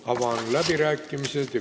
Avan läbirääkimised.